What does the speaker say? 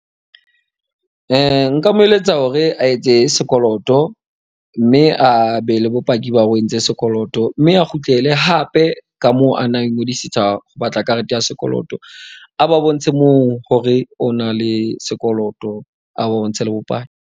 Nka mo eletsa hore a etse sekoloto. Mme a be le bopaki ba hore o entse sekoloto. Mme a kgutlele hape ka mo ana, a ingodisetsa ho batla karete ya sekoloto. A ba bontshe moo hore o na le sekoloto a bontshe le .